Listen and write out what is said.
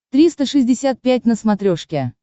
триста шестьдесят пять на смотрешке